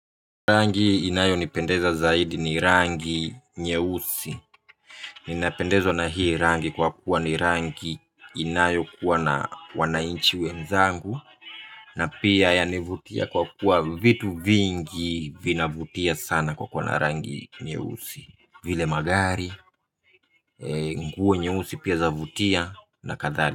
Rangi inayonipendeza zaidi ni rangi nyeusi. Ninapendezwa na hii rangi kwa kuwa ni rangi inayokuwa na wananchi wenzangu. Na pia yanivutia kwa kuwa vitu vingi vinavutia sana kwa kuwa na rangi nyeusi, vile magari, nguo nyeusi pia zavutia na kadhalika.